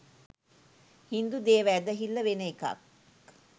හින්දු දේව ඇදහිල්ල වෙන එකක්